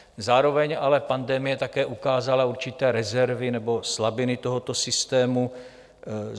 Zároveň ale pandemie také ukázala určité rezervy nebo slabiny tohoto systému.